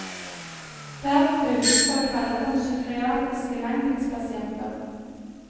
Verden utenfor kaller dem psykiatriske langtidspasienter.